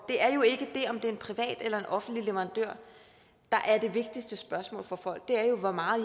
det er jo ikke det om det er en privat eller en offentlig leverandør der er det vigtigste spørgsmål for folk det er jo hvor meget